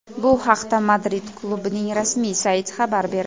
Bu haqda Madrid klubining rasmiy sayti xabar berdi .